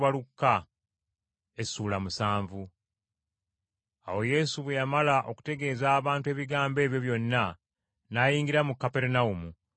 Awo Yesu bwe yamala okutegeeza abantu ebigambo ebyo byonna n’ayingira mu Kaperunawumu.